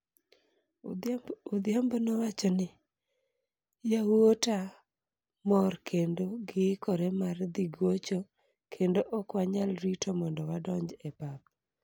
Odhiambo nowacho ni, "Yawuota mor kendo giikore mar dhi gocho kendo ok wanyal rito mondo wadonj e pap."